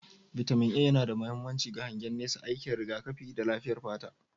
Bitamin A yana da mahimmanci ga hangen nesa, aikin rigakafi, da lafiyar fata.